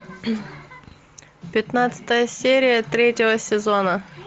пятнадцатая серия третьего сезона